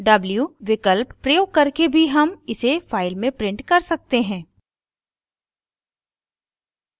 w विकल्प प्रयोग करके भी हम इसे file में print कर सकते हैं